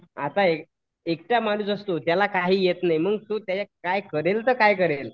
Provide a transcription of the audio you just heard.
आता एकटा माणूस असतो त्याला काही येत नाही मग तो करेल तर काय करेल?